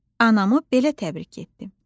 “Anamı belə təbrik ettim.”